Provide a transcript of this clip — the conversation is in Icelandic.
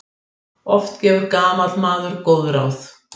Oft gefur gamall maður góð ráð.